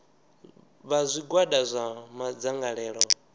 vha zwigwada zwa madzangalelo o